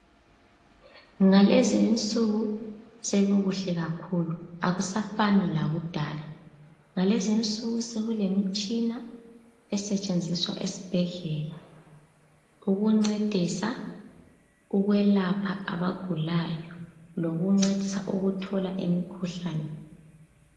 Ngalezi insuku sekukuhle kakhulu akusafani lakudala. Ngalezi insuku sekulemitshina esetshenziswa esibhedlela, ukuncedisa ukwelapha abagulayo lokuncedisa ukuthola imikhuhlane.